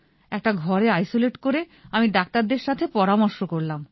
একটা ঘরে আইসোলেট করে আমি ডাক্তারদের সাথে পরামর্শ করলাম